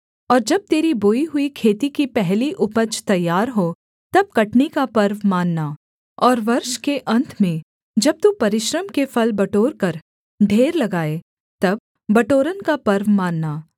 और जब तेरी बोई हुई खेती की पहली उपज तैयार हो तब कटनी का पर्व मानना और वर्ष के अन्त में जब तू परिश्रम के फल बटोरकर ढेर लगाए तब बटोरन का पर्व मानना